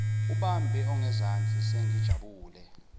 abambe ongezansi sengijabule